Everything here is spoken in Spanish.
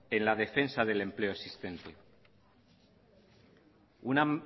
en la defensa del empleo existente una